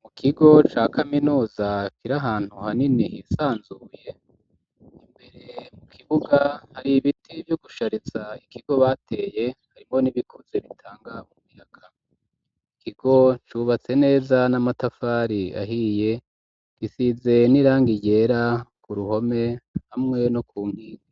Mu kigo ca kaminoza kira hantu hanini hisanzuye imbere mu kibuga hari ibiti vyo gushariza ikigo bateye harimo n'ibikuze bitangamyaka ikigo cubatse neza n'amatafari ahiye gisize ni rangiei ryera ku ruhome amwewe no ku nkirwi